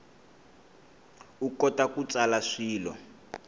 u kota ku tsala swilo